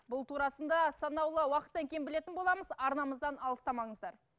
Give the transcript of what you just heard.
бұл турасында санаулы уақыттан кейін білетін боламыз арнамыздан алыстамаңыздар